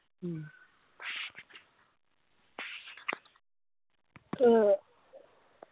മ്മ്